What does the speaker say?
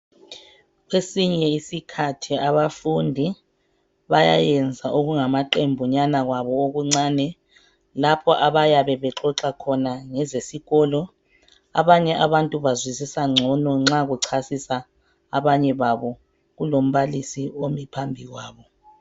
Kwesinye iskhathi abafundi bayayenza okungama qembunyana kwabo okuncane lapho abayabe bexoxa khona ngezesikolo .Abanye abantu bazwisisa ngcono nxa kuchasisa abanye babo kulombalisi omi phambi kwabo .